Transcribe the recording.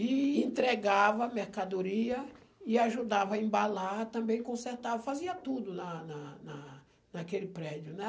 E entregava mercadoria e ajudava a embalar, também consertava, fazia tudo na na na naquele prédio, né?